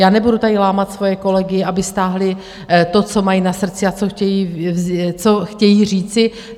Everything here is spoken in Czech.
Já nebudu tady lámat svoje kolegy, aby stáhli to, co mají na srdci a co chtějí říci.